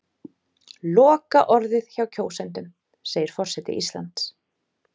Lokaorðið hjá kjósendum segir forseti Íslands